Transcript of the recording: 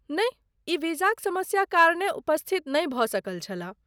नहि, ई वीजाक समस्या कारणे उपस्थित नहि भऽ सकल छलाह।